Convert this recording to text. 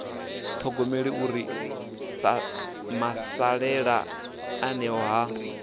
ṱhogomele uri masalela eneo ha